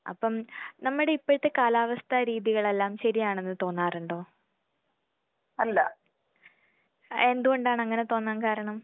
അപ്പം നമ്മുടെ ഇപ്പഴത്തെ കാലാവസ്ഥ രീതികളെല്ലാം ശരിയാണെന്ന് തോന്നാറുണ്ടോ? എന്തുകൊണ്ടാണ് അങ്ങനെ തോന്നാൻ കാരണം?